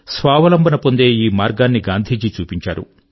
స్వావలంబన పొందే ఈ మార్గాన్ని గాంధీజీ చూపించారు